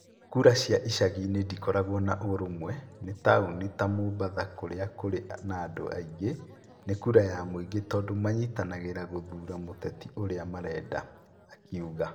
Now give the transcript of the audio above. "Kura cia icagi-inĩ ndĩkoragwo na ũrũmwe ni taũni ta Mombatha kũrĩa kũrĩ na andũ aingĩ, nĩ kura ya mũingĩ tondũ manyitanagĩra gũthuura mũteti ũrĩa marenda. "akiuga